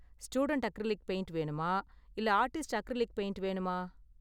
Student acrylic paint வேணுமா இல்ல artist acrylic paint வேணுமா?